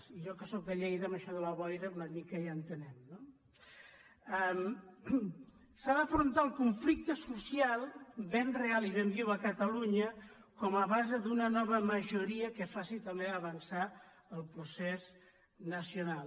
i jo que sóc de lleida en això de la boira una mica hi en·tenc no s’ha d’afrontar el conflicte social ben real i ben viu a catalunya com a base d’una nova majoria que faci també avançar el procés nacional